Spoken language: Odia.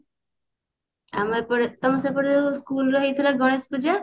ଆମ ଏପଟେ ତମ ସେପଟେ school ରେ ହେଇଥିଲା ଗଣେଶ ପୂଜା